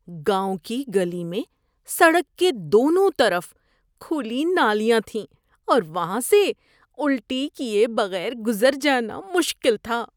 گاؤں کی گلی میں سڑک کے دونوں طرف کھلی نالیاں تھیں اور وہاں سے الٹی کیے بغیر گزر جانا مشکل تھا۔